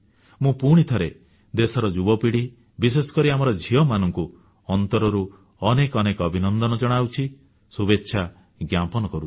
ମୁଁ ପୁଣିଥରେ ଦେଶର ଯୁବପିଢ଼ି ବିଶେଷକରି ଆମର ଝିଅମାନଙ୍କୁ ଅନ୍ତରରୁ ଅନେକ ଅନେକ ଅଭିନନ୍ଦନ ଜଣାଉଛି ଶୁଭେଚ୍ଛା ଜ୍ଞାପନ କରୁଛି